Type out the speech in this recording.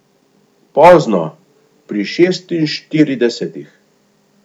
Pozno, pri šestinštiridesetih.